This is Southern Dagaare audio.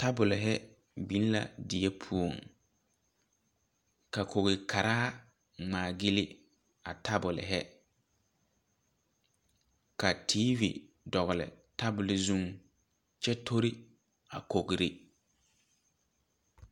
Tabol hi bing la deɛ pou ka kou karaa ngmaa gyili a tabol hi ka tv dɔgli tabol zu kye tori a kɔgri.